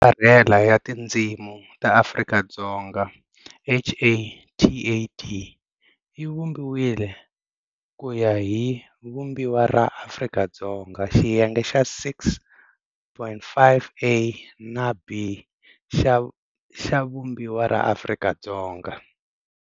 Angarhela ya Tindzimi ta Afrika-Dzonga, HATAD, yi vumbiwile ku ya hi Vumbiwa ra Afrika-Dzonga, Xiyenge xa 6,5, a, na, b, xa Vumbiwa ra Afrika-Dzonga.